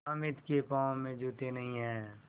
हामिद के पाँव में जूते नहीं हैं